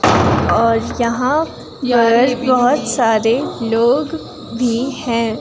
और यहां पर बहुत सारे लोग भी हैं।